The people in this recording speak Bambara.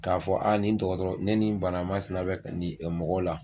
K'a fɔ a ni dɔgɔtɔrɔ ne ni bana masina bɛ nin mɔgɔ la.